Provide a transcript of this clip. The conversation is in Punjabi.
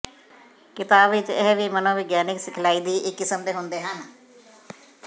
ਕਿਤਾਬ ਵਿੱਚ ਇਹ ਵੀ ਮਨੋਵਿਗਿਆਨਕ ਸਿਖਲਾਈ ਦੀ ਇੱਕ ਕਿਸਮ ਦੇ ਹੁੰਦੇ ਹਨ